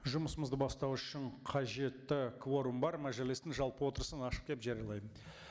жұмысымызды бастау үшін қажетті кворум бар мәжілістің жалпы отырысын ашық деп жариялаймын